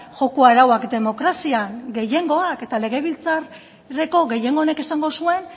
joko arauak demokrazian gehiengoak eta legebiltzarreko gehiengo honek esango zuen